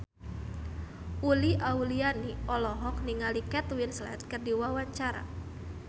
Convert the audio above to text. Uli Auliani olohok ningali Kate Winslet keur diwawancara